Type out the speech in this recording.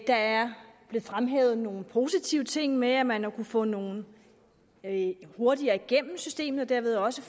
der er blevet fremhævet nogle positive ting med at man har kunnet få nogle læger hurtigere igennem systemet og derved også